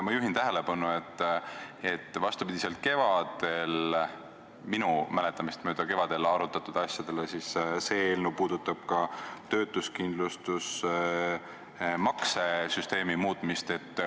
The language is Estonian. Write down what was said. Ma juhin tähelepanu, et vastupidiselt kevadel – minu mäletamist mööda kevadel –, arutatud asjadele, see eelnõu puudutab ka töötuskindlustusmakse süsteemi muutmist.